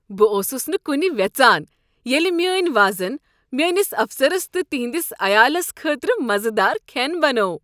بہٕ اوسس نہٕ کنہِ وٮ۪ژان ییٚلہ میٛٲنۍ وازن میٛٲنس افسرس تہٕ تٔہنٛدس عیالس خٲطرٕ مزٕدار کھٮ۪ن بنوو۔